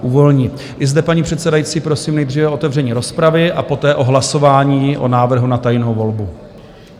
I zde, paní předsedající, prosím nejdříve o otevření rozpravy a poté o hlasování o návrhu na tajnou volbu.